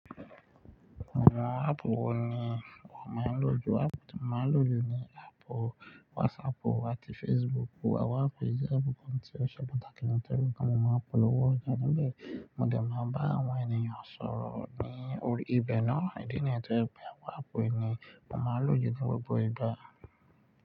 Àwọn áàpù wo ni wàá máa lò ju? Áàpù tí mo máa lò jù ni áàpù WhatsApp àti Facebook. Wàá pè Facebook bí i ohun tí ó ṣe pàtàkì ní tẹ́lù. Nígbà mo máa polówó ọjà níbẹ̀, mo dẹ̀ máa bá àwọn ènìyàn sọ̀rọ̀ ni orí ibẹ̀ náà. Ìdí nìyẹn tó hẹ pé áàpù yìí ni mo máa lò ju gbogbo ìgbà.